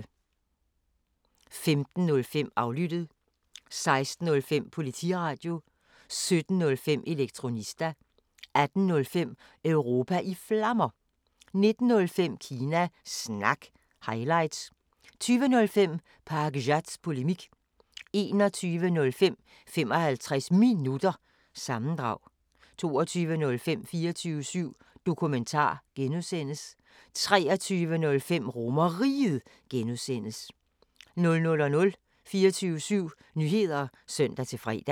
15:05: Aflyttet 16:05: Politiradio 17:05: Elektronista 18:05: Europa i Flammer 19:05: Kina Snak – highlights 20:05: Pakzads Polemik 21:05: 55 Minutter – sammendrag 22:05: 24syv Dokumentar (G) 23:05: RomerRiget (G) 00:00: 24syv Nyheder (søn-fre)